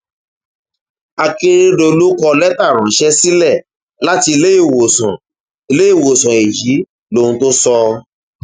akérédọlù kọ lẹtà ránṣẹ sílẹ láti iléèwòsàn iléèwòsàn èyí lóhun tó sọ